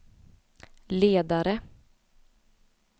ledare